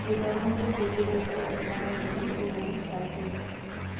Gĩthomo kĩhingũrĩte njĩra nyingi ũũ atĩ